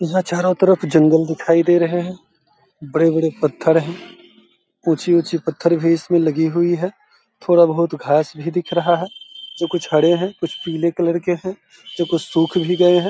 यहाँ चारो तरफ जंगल दिखाई दे रहे हैं। बड़े-बड़े पत्थर हैं। ऊँची-ऊँची पत्थर भी इसमें लगी हुई है। थोड़ा बहुत घाँस भी दिख रहा है जो कुछ हरे हैं कुछ पीले कलर के हैं जो कुछ सुख भी गए हैं।